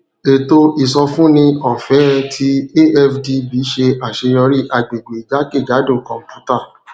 ètò ìsọfúnni ọfẹẹ ti afdb ṣe aṣeyọri agbegbe jakejado kọnputa